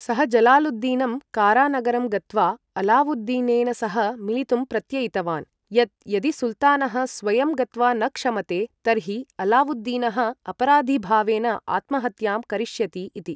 सः जलालुद्दीनं, कारा नगरं गत्वा अलावुद्दीनेन सह मिलितुं प्रत्ययितवान्, यत् यदि सुल्तानः स्वयं गत्वा न क्षमते, तर्हि अलावुद्दीनः अपराधिभावेन आत्महत्यां करिष्यति इति।